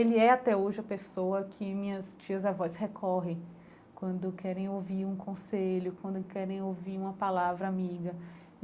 Ele é até hoje a pessoa que minhas tias-avós recorrem quando querem ouvir um conselho, quando querem ouvir uma palavra amiga.